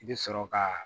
I bɛ sɔrɔ ka